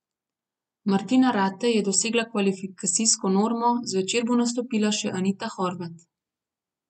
Martina Ratej je dosegla kvalifikacijsko normo, zvečer bo nastopila še Anita Horvat.